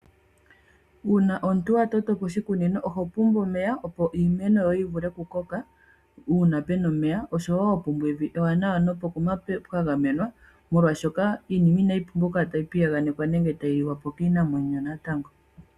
Uuna omuntu wa totopo oshikunino oho pumbwa omeya opo iimeno yoye yi vule kukoka uuna pena omeya, osho wo puna evi ewanawa nopokuma pwa gamena molwashoka iinima inayi pumbwa okukala tayi piyaganekwa nenge tayi liwapo kiinamwenyo.